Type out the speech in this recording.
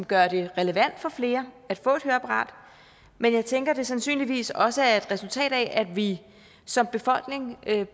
gør det relevant for flere at få et høreapparat men jeg tænker at det sandsynligvis også er et resultat af at vi som befolkning